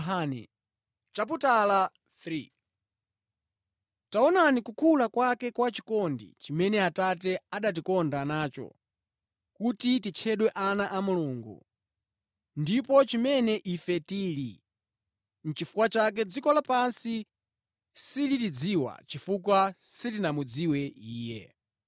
Taonani kukula kwake kwa chikondi chimene Atate anatikonda nacho, kuti titchedwe ana a Mulungu! Ndipo nʼchimene ife tili! Nʼchifukwa chake dziko lapansi silitidziwa chifukwa silinamudziwe Iye.